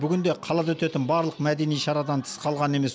бүгінде қалада өтетін барлық мәдени шарадан тыс қалған емес